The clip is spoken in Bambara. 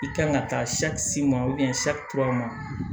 I kan ka taa